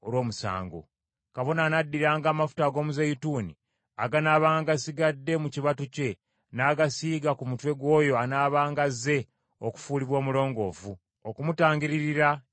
Kabona anaddiranga amafuta ag’omuzeeyituuni aganaabanga gasigadde mu kibatu kye, n’agasiiga ku mutwe gw’oyo anaabanga azze okufuulibwa omulongoofu, okumutangiririra eri Mukama .